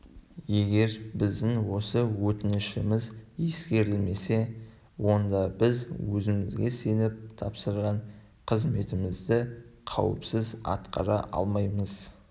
егер біздің осы өтінішіміз ескерілмесе онда біз өзімізге сеніп тапсырған қызметімізді қауіпсіз атқара алмаймыз